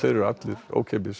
eru allir ókeypis